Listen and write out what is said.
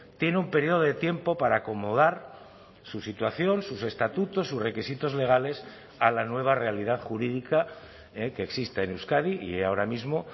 tiene un periodo de tiempo para acomodar su situación sus estatutos sus requisitos legales a la nueva realidad jurídica que existe en euskadi y ahora mismo